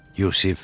Yusif.